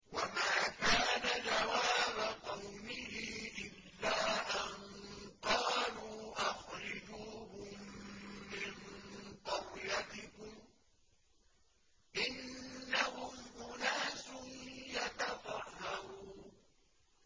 وَمَا كَانَ جَوَابَ قَوْمِهِ إِلَّا أَن قَالُوا أَخْرِجُوهُم مِّن قَرْيَتِكُمْ ۖ إِنَّهُمْ أُنَاسٌ يَتَطَهَّرُونَ